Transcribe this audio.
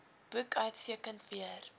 boek uitstekend weer